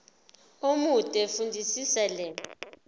omude fundisisa le